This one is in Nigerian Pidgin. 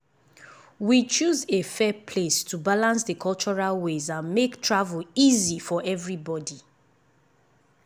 we choose a fair place to balance the cultural ways and make travel easy for everybody.